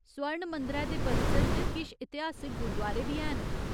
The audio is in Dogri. स्वर्ण मंदरै दे परिसर च किश इतिहासक गुरदुआरे बी हैन।